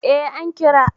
Eh an kira